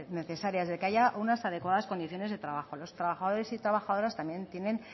necesarias de que haya unas adecuadas condiciones de trabajo los trabajadores y trabajadoras también tienen